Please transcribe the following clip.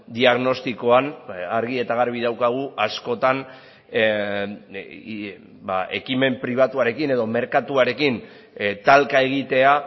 diagnostikoan argi eta garbi daukagu askotan ekimen pribatuarekin edo merkatuarekin talka egitea